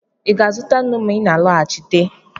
Ị ga-azụta nnu ma ị na-alọghachite?